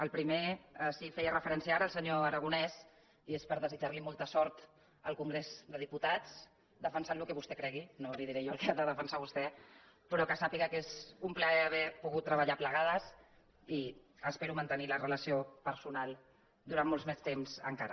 al primer hi feia refe·rència ara el senyor aragonès i és per desitjar·li molta sort al congrés dels diputats defensant el que vostè cregui no li diré jo el que ha de defensar vostè però que sàpiga que és un plaer haver pogut treballar plega·des i espero mantenir la relació personal durant molt més temps encara